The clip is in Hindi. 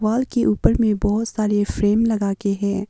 वॉल के ऊपर में बहुत सारे फ्रेम लगा के है।